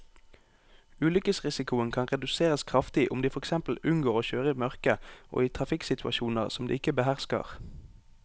Ulykkesrisikoen kan reduseres kraftig om de for eksempel unngår å kjøre i mørket og i trafikksituasjoner som de ikke behersker.